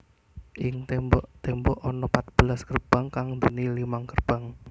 Ing tembok tembok ana patbelas gerbang kang duweni limang gerbang